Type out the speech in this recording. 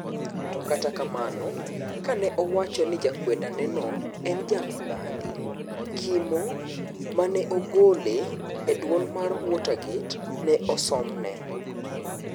To kata kamano kane owacho ni jakweda neno en jamibadhi kimo ma neogole e duol mar Watergate, ne osomne.